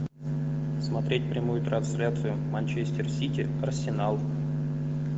смотреть прямую трансляцию манчестер сити арсенал